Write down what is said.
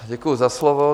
Děkuji za slovo.